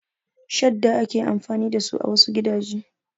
Shadda ake amfani dasu a wasu gidaje.